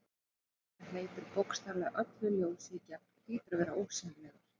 Hlutur sem hleypir bókstaflega öllu ljósi í gegn hlýtur að vera ósýnilegur.